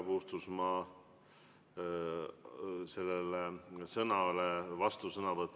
Nüüd vastusõnavõtt härra Puustusmaa kõnele.